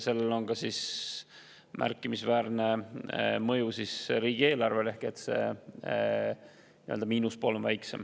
Sellel on ka märkimisväärne mõju riigieelarvele ehk see miinuspool on väiksem.